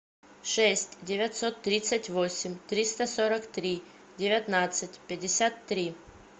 шесть девятьсот тридцать восемь триста сорок три девятнадцать пятьдесят три